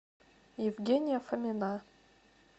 евгения фомина